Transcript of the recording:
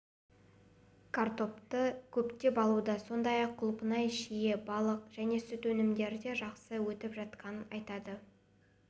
картопты көптеп алуда сондай-ақ құлпынай шие балық және сүт өнімдері де жақсы өтіп жатқанын айтады